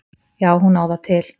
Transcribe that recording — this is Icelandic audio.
Já, hún á það til.